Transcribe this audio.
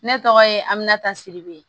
Ne tɔgɔ ye aminatasiribo ye